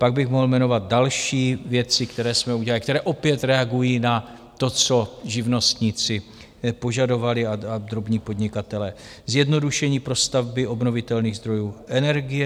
Pak bych mohl jmenovat další věci, které jsme udělali, které opět reagují na to, co živnostníci požadovali a drobní podnikatelé - zjednodušení pro stavby obnovitelných zdrojů energie.